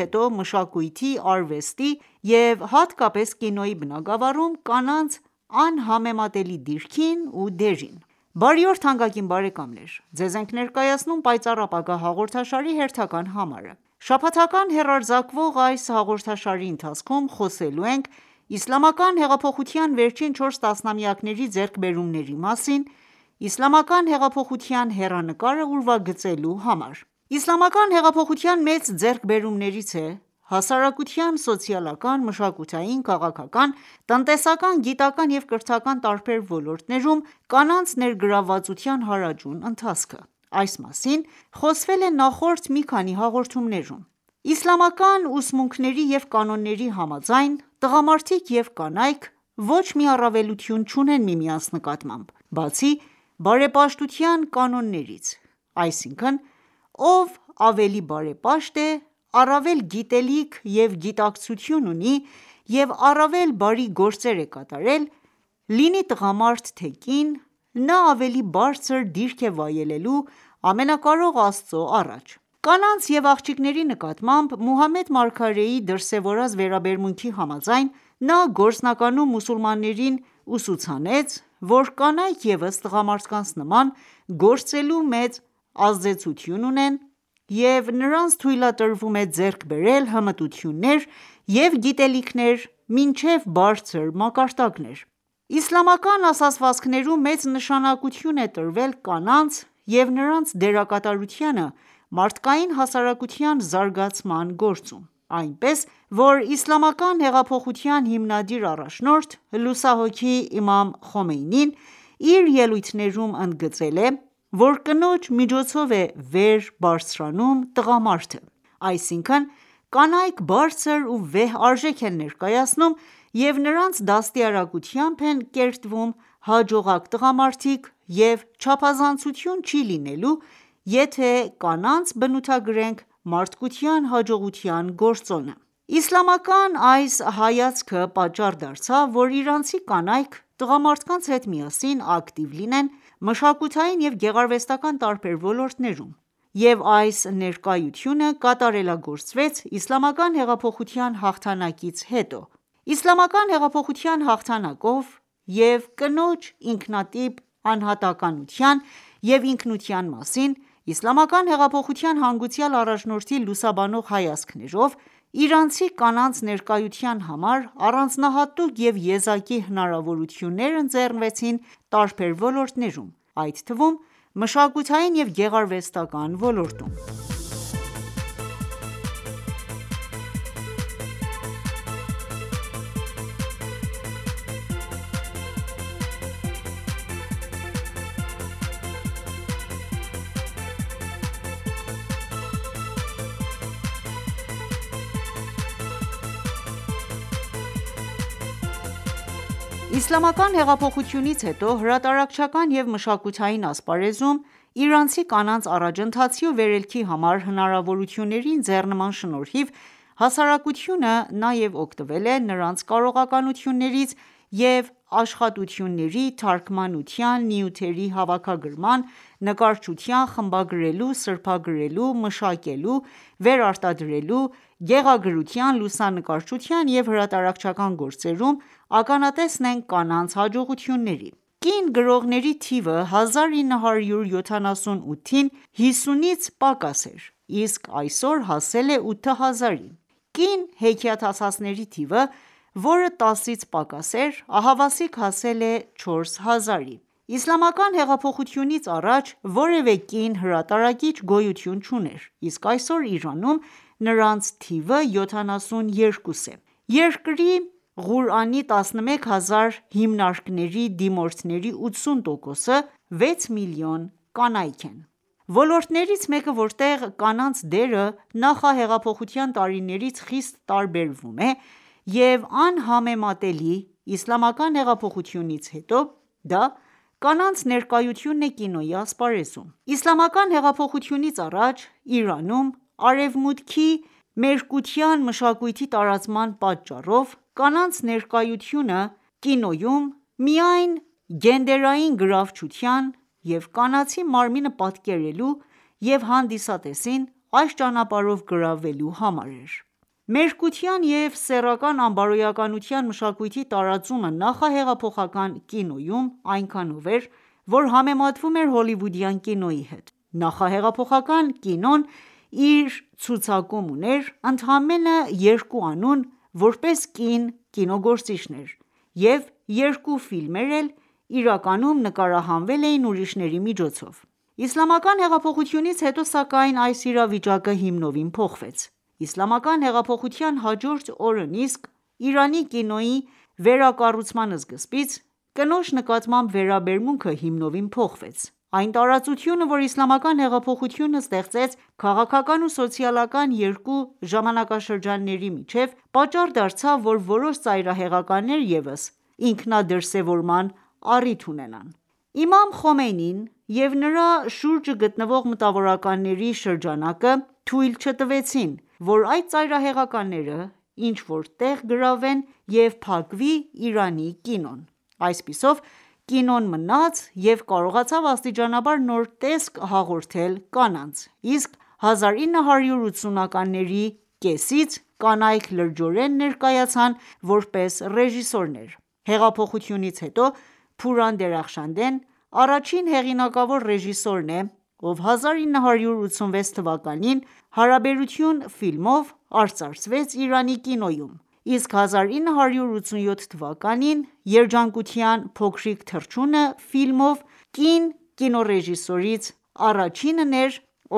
հետո ՝մշակույթի, արվեստի և հատկապես կինոյի բնագավառում կանանց անհամեմատելի դիրքին ու դերին։ Բարի օր թանկագին բարեկամներ, ձեզ ենք ներկայացնում «Պայծառ ապագա» հաղորդաշարի հերթական համարը:Շաբաթական հեռարձակվող այս հաղորդաշարի ընթացքում խոսելու ենք Իսլամական հեղափոխության վերջին 4 տասնամյակների ձեռքբերումների մասին՝ Իսլամական հեղափոխության հեռանկարը ուրվագծելու համար։ Իսլամական հեղափոխության մեծ ձեռքբերումներից է՝ հասարակության սոցիալական, մշակութային, քաղաքական, տնտեսական, գիտական, և կրթական տարբեր ոլորտներում կանանց ներգրավվածության հարաճուն ընթացքը: Այս մասին խոսվել է նախորդ մի քանի հաղորդումներում։ Իսլամական ուսմունքների և կանոնների համաձայն, տղամարդիկ և կանայք ոչ մի առավելություն չունեն միմյանց նկատմամբ, բացի բարեպաշտության կանոններից ,այսինքն՝ ով ավելի բարեպաշտ է, առավել գիտելիք և գիտակցություն ունի և առավել բարի գործեր է կատարել, լինի տղամարդ, թե կին, նա ավելի բարձր դիրք է վայելելու Ամենակարող Աստծո առաջ:Կանանց և աղջիկների նկատմամբ Մուհամմեդ մարգարեի դրսևորած վերաբերմունքի համաձայն, նա գործնականում մուսուլմաններին ուսուցանեց ,որ կանայք ևս տղամարդկանց նման, գործելու մեծ ազատություն ունեն և նրանց թույլատրվում է ձեռք բերել հմտություններ և գիտելիքներ մինչև բարձր մակարդակներ:Իսլամական ասացվածքներում մեծ նշանակություն է տրվել կանանց և նրանց դերակատարությանը ՝մարդկային հասարակության զարգացման գործում:Այնպես ,որ Իսլամական Հեղափոխության հիմնադիր առաջնորդ լուսահոգի Իմամ Խոմեյնին իր ելույթներում ընդգծել է ,որ կնոջ միջոցով է վեր բարձրանում տղամարդը: Այսինքն՝ կանայք բարձր ու վեհ արժեք են ներկայացնում, և նրանց դաստիրարակությամբ են կերտվում հաջողակ տղամարդիկ և չափազանցություն չի լինելու եթե՝կանանց բնութագրենք մարդկության հաջողության գործոնը: Իսլամական այս հայացքը պատճառ դարձավ, որ իրանցի կանայք, տղամարդկանց հետ միասին ակտիվ լինեն մշակութային և գեղարվեստական ​​տարբեր ոլորտներում, և այս ներկայությունը կատարելագործվեց իսլամական հեղափոխության հաղթանակից հետո:Իսլամական հեղափոխության հաղթանակով և կնոջ ինքնատիպ անհատականության և ինքնության մասին, Իսլամական հեղափոխության հանգուցյալ առաջնորդի լուսաբանող հայացքներով, իրանցի կանանց ներկայության համար առանձնահատուկ և եզակի հնարավորություններ ընձեռվեցին տարբեր ոլորտներում, այդ թվում՝ մշակութային և գեղարվեստական ​​ոլորտում: Իսլամական հեղափոխությունից հետո ,հրատարակչական և մշակութային ասպարեզում, իրանցի կանանց առաջընթացի ու վերելքի համար հնարավորությունների ընձեռման շնորհիվ, հասարակությունը նաև օգտվել է նրանց կարողականություններից և աշխատությունների, թարգմանության ,նյութերի հավաքագրման, նկարչության, խմբագրելու, սրբագրելու, մշակելու ,վերարտադրելու, գեղագրության, լուսանկարչության և հրատարակչական գործերում, ականատեսն ենք կանանց հաջողությունների: Կին գրողների թիվը 1978-ին 50-ից պակաս էր ,իսկ այսօր հասել է 8000-ի:Կին հեքիաթասացների թիվը ,որը տասից պակաս էր ,ահավասիկ հասել է 4 հազարի: Իսլամական հեղափոխությունից առաջ որևէ կին հրատարակիչ գոյություն չուներ, իսկ այսօր Իրանում նրանց թիվը 72 է: Երկրի Ղուրանի 11 հազար հիմնարկների դիմորդների 80 տոկոսը՝ 6 միլիոն կանայք են:Ոլորտներից մեկը, որտեղ կանանց դերը նախահեղափոխության տարիներից խիստ տարբերվում է և անհամեմատելի՝Իսլամական Հեղափոխությունից հետո ,դա կանանց ներկայությունն է կինոյի ասպարեզում: Իսլամական հեղափոխությունից առաջ Իրանում Արևմուտքի մերկության մշակույթի տարածման պատճառով, կանանց ներկայությունը կինոյում միայն գենդերային գրավչության և կանացի մարմինը պատկերելու և հանդիսատեսին այս ճանապարհով գրավելու համար էր:Մերկության և սեռական անբարոյականության մշակույթի տարածումը նախահեղափոխական կինոյում այնքանով էր, որ համեմատվում էր հոլիվուդյան կինոյի հետ։ Նախահեղափոխական կինոն իր ցուցակում ուներ ընդամենը երկու անուն՝ որպես կին կինոգործիչներ, և երկու ֆիլմերն էլ իրականում նկարահանվել էին ուրիշների միջոցով:Իսլամական հեղափոխությունից հետո, սակայն, այս իրավիճակը հիմնովին փոխվեց: Իսլամական հեղափոխության հաջորդ օրն իսկ՝ Իրանի կինոյի վերակառուցման սկզբից ,կնոջ նկատմամբ վերաբերմունքը հիմնովին փոխվեց։ Այն տարածությունը ,որ Իսլամական հեղափոխությունը ստեղծեց քաղաքական ու սոցիալական երկու ժամանակաշրջանների միջև, պատճառ դարձավ որ որոշ ծայրահեղականներ ևս ինքնադրսևորման առիթ ունենան: Իմամ Խոմեյնին և նրա շուրջը գտնվող մտավորականների շրջանակը թույլ չտվեցին, որ այդ ծայրահեղականները ինչ որ տեղ գրավեն և փակվի Իրանի կինոն ։Այսպիսով, կինոն մնաց ու կարողացավ աստիճանաբար նոր տեսք հաղորդել կանանց, իսկ 1980-ականների կեսերից կանայք լրջորեն ներկայացան ,որպես ռեժիսորներ։ Հեղափոխությունից հետո «Փուրան Դերախշանդեն» առաջին հեղինակավոր ռեժիսորն է, ով 1986 թվականին«Հարաբերություն»ֆիլմով արծարծվեց Իրանի կինոյում, իսկ 1987 թվականին «Երջանկության փոքրիկ թռչունը» ֆիլմով կին կինոռեժիսորից առաջինն էր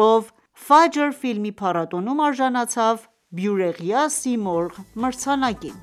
,ով «Ֆաջր» ֆիլմի փառատոնում արժանացավ «բյուրեղյա սիմորղ» մրցանակին: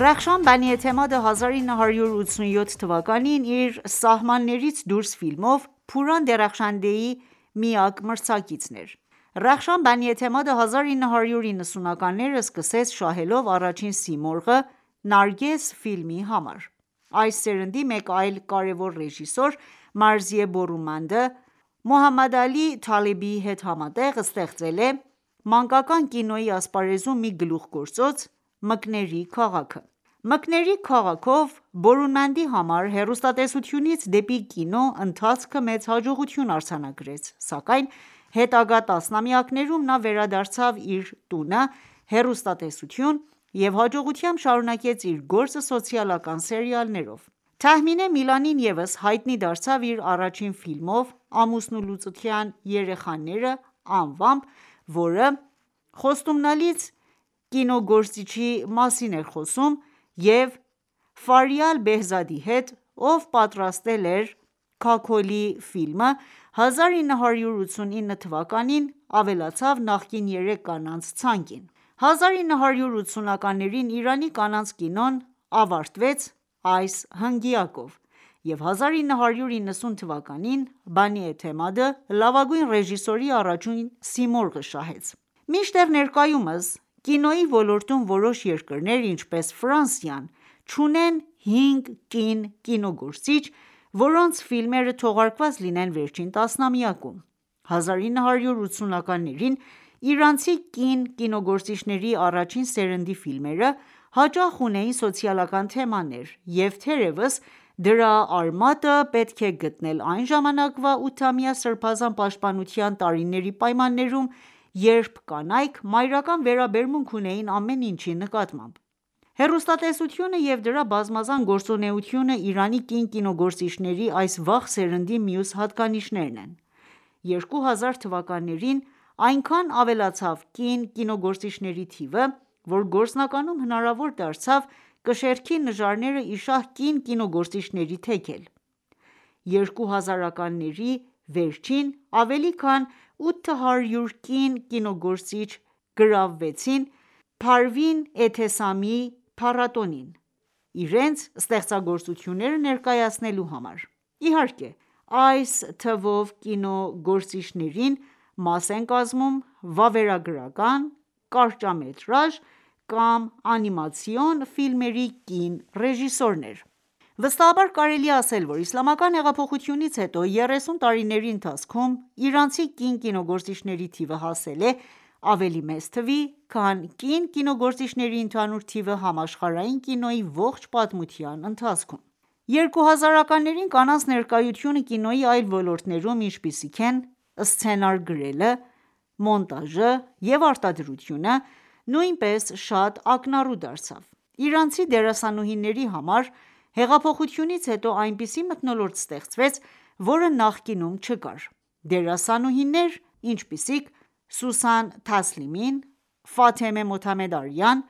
Ռախշան Բանի-Էթեմադը,1987 թվականին իր «Սահմաններից դուրս» ֆիլմով, Փուրան Դերախշանդեի միակ մրցակիցն էր։ Ռախշան Բանի-Էթեմադը 1990-ականները սկսեց շահելով առաջին «Սիմորղ»-ը «Նարգես» ֆիլմի համար: Այս սերնդի մեկ այլ կարևոր ռեժիսոր Մարզիե Բորումանդը ,Մուհամմադ Ալի Թալեբիի հետ համատեղ ստեղծել է մանկական կինոյի ասպարեզում մի գլուխգործոց՝ «Մկների քաղաք»-ը:«Մկների քաղաք»-ով ,Բորումանդի համար հեռուստատեսությունից դեպի կինո ընթացքը մեծ հաջողություն արձանագրեց ,սակայն հետագա տասնամյակներում նա վերադարձավ իր տունը՝ հեռուստատեսություն և հաջողությամբ շարունակեց իր գործը սոցիալական սերիալներով: «Թահմինե Միլանին» ևս հայտնի դարձավ իր առաջին ֆիլմով՝«Ամուսնալուծության երեխաները» անվամբ ,որը խոստումնալից կինոգործիչի մասին էր խոսում և Ֆարիալ Բեհզադի հետ ,ով պատրաստել էր «Քաքոլի»ֆիլմը ,1989 թվականին ավելացավ նախկին երեք կանանց ցակին:1980-ականներին Իրանի կանանց կինոն ավարտվեց այս հնգյակով և 1990 թվականին ՝Բանի Էթեմադը լավագույն ռեժիսորի առաջին Սիմորղը շահեց:Մինչդեռ ներկայումս կինոի ոլորտում որոշ երկրներ ,ինչպես ՝Ֆրանսիան, չունեն հինգ կին կինոգործիչ, որոնց ֆիլմերը թողարկված լինեն վերջին տասնամյակում։1980-ականներին, իրանցի կին կինոգործիչների առաջին սերնդի ֆիլմերը հաճախ ունեին սոցիալական թեմաներ,և թերեւս դրա արմատը պետք է գտնել այն ժամանակվա ութամյա սրբազան պաշտպանության տարիների պայմաններում, երբ կանայք մայրական վերաբերմունք ունեին ամեն ինչի նկատմամբ։ Հեռուստատեսությունը և դրա բազմազան գործունեությունը Իրանի կին կինոգործիչների այս վաղ սերնդի մյուս հատկանիշներն են:2000թվականներին ,այնքան ավելացավ կին կինոգործիչների թիվը ,որ գործնականում հնարավոր դարձավ կշեռքի նժարները իշահ կին կինոգործիչների թեքել: 2000-ականների վերջին ավելի քան 800 կին կինոգործիչ գրանցվեցին «Փարվին Էթեսամի»-ի փառատոնին ,իրենց ստեղծագործությունները ներկայացնելու համար, իհարկե, այս թվով կինոգործիչներին մաս են կազմում ՝ վավերագրական, կարճամետրաժ կամ անիմացիոն ֆիլմերի կին ռեժիսորներ։ Վստահաբար կարելի է ասել, որ Իսլամական հեղափոխությունից հետո 30 տարիների ընթացքում իրանցի կին կինոգործիչների թիվը հասել է ավելի մեծ թվի, քան կին կինոգործիչների ընդհանուր թիվը համաշխարհային կինոյի ողջ պատմության ընթացքում: 2000-ականներին կանանց ներկայությունը կինոյի այլ ոլորտներում, ինչպիսիք են սցենար գրելը, մոնտաժը և արտադրությունը, նույնպես շատ ակնառու դարձավ:Իրանցի դերասանուհիների համար հեղափոխությունից հետո այնպիսի մթնոլորտ ստեղծվեց, որը նախկինում չկար:Դերասանուհիներ ,ինչպիսիք՝ Սուսան Թասլիմին, Ֆաթեմեհ Մոթամեդարիան,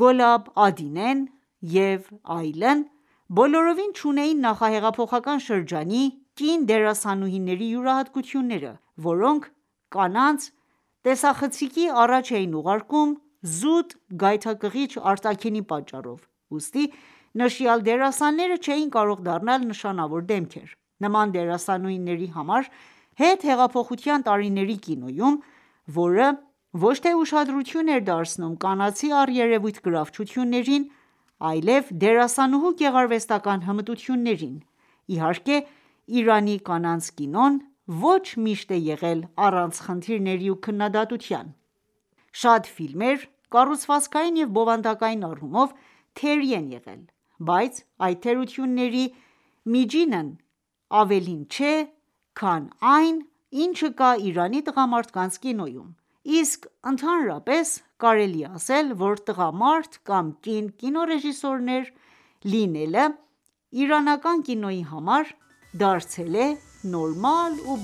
Գոլաբ Ադինեն և այլն, բլորովին չունեին նախահեղափոխական շրջանի կին դերասանուհիների յուրահատկությունները ,որոնք կանանց տեսախցիկի առաջ էին ուղարկում զուտ գայթակղիչ արտաքինի պատճառով, ուստի նշյալ դերասանները չէին կարող դառնալ նշանավոր դեմքեր։ Նման դերասանուհիների համար, հետհեղափոխության տարիների կինոյում ,որը ոչ թե ուշադրություն էր դարձնում կանացի առերևույթ գրավչություններին ,այլև դերասանուհու գեղարվեստական ​​հմտություններին:Իհարկե, Իրանի կանանց կինոն ոչ միշտ է եղել առանց խնդիրների ու քննադատության:Շատ ֆիլմեր կառուցվածքային և բովանդակային առումով թերի են եղել:Բայց այդ թերությունների միջինն ավելին չէ, քան այն, ինչը կա Իրանի տղամարդկանց կինոյում, իսկ ընդհանրապես, կարելի է ասել, որ տղամարդ կամ կին կինոռեժիսոր լինելը իրանական կինոյի համար դարձել է նորմալ ու